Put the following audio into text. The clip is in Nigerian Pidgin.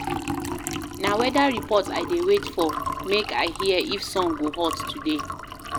Na weather report I dey wait for make I. hear if sun go hot today